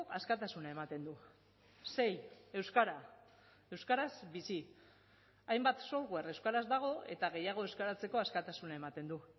askatasuna ematen du sei euskara euskaraz bizi hainbat software euskaraz dago eta gehiago euskaratzeko askatasuna ematen du